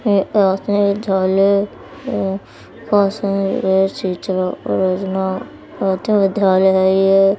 विद्रालय है ये।